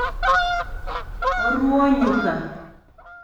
Oruo nyuka